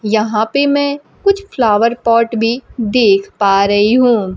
यहां पे मैं कुछ फ्लावर पॉट भी देख पा रही हूं।